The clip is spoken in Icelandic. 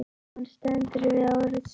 Og hann stendur við orð sín.